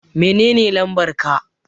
Menene lambar ka?